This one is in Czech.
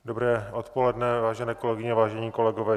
Dobré odpoledne, vážené kolegyně, vážení kolegové.